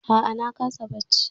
A'a na kasa bacci.